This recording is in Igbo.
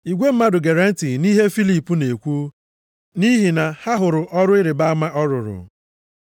Igwe mmadụ gere ntị nʼihe Filip na-ekwu nʼihi na ha hụrụ ọrụ ịrịbama ọ rụrụ.